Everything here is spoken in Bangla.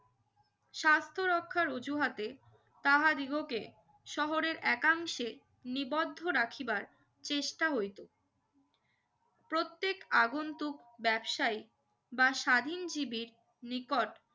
স্বাস্থ্য রক্ষার অজুহাতে তাহাদিগকে শহরে একাংশে নিবদ্ধ রাখিবার চেষ্টা হয়লো প্রত্যেক আগন্তুক ব্যবসায়ীক বা স্বাধীন জীবি নিকট